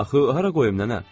Axı hara qoyum nənə?